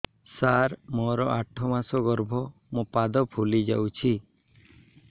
ସାର ମୋର ଆଠ ମାସ ଗର୍ଭ ମୋ ପାଦ ଫୁଲିଯାଉଛି